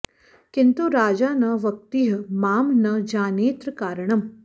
किन्तु राजा न वक्तीह मां न जानेऽत्र कारणम्